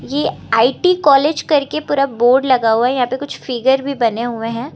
ये IT college करके पूरा बोर्ड लगा हुआ है यहां पे कुछ फिगर भी बने हुए हैं।